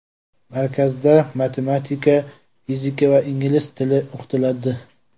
Markazda matematika, fizika va ingliz tili o‘qitiladi.